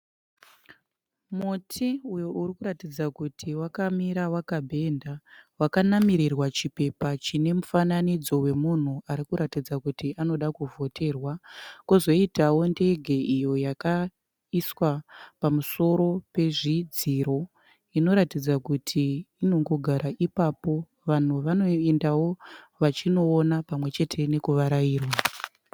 Muti uyo uri kuratidza kuti wakamira wakabhenda. Wakanamirirwa chipepa chine mufanidzo wemunhu ari kuratidza kuti anoda kuvhoterwa. Kwozoitawo ndege iyo yakaiswa pamusoro pezvidziro inoratidza kuti inongogara ipapo vanhu vanoendawo vachinoona pamwe chete nekuvarairwa.